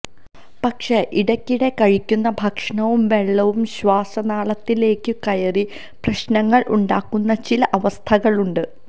പക്ഷെ ഇടയ്ക്കിടെ കഴിക്കുന്ന ഭക്ഷണവും വെള്ളവും ശ്വാസനാളത്തിലേക്കു കയറി പ്രശ്നങ്ങൾ ഉണ്ടാക്കുന്ന ചില അവസ്ഥകൾ ഉണ്ട്